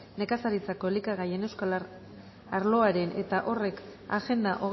nekazaritzako elikagaien euskal arloaren eta horrek agenda